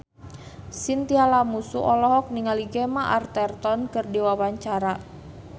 Chintya Lamusu olohok ningali Gemma Arterton keur diwawancara